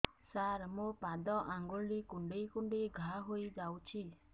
ସାର ମୋ ପାଦ ଆଙ୍ଗୁଳି କୁଣ୍ଡେଇ କୁଣ୍ଡେଇ ଘା ହେଇଯାଇଛି